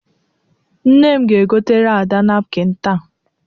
Nne m ga-egotere Ada napkịn taa.